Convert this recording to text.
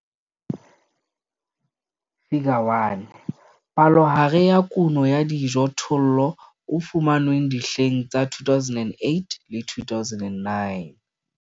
Figure 1- Palohare ya kuno ya dijothollo e fumanweng dihleng tsa 2008 le 2009.